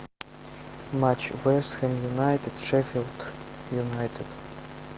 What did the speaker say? матч вест хэм юнайтед шеффилд юнайтед